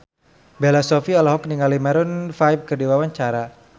Bella Shofie olohok ningali Maroon 5 keur diwawancara